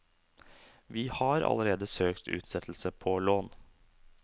Vi har allerede søkt utsettelse på lån.